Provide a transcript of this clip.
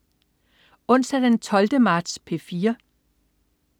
Onsdag den 12. marts - P4: